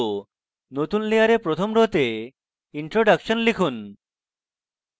নতুন layer প্রথম arrow তে introduction লিখুন